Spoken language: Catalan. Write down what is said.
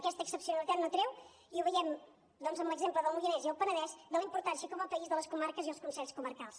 aquesta excepcionalitat no treu i ho veiem doncs amb l’exemple del moianès i el penedès la importància com a país de les comarques i els consells comarcals